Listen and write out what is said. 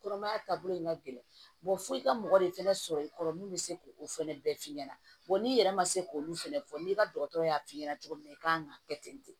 Kɔnɔmaya taabolo in ka gɛlɛn fo i ka mɔgɔ de fɛnɛ sɔrɔ i kɔrɔ min bɛ se k'o fɛnɛ bɛɛ f'i ɲɛna n'i yɛrɛ ma se k'olu fɛnɛ fɔ n'i ka dɔgɔtɔrɔ y'a f'i ɲɛna cogo min na i kan ka kɛ ten ten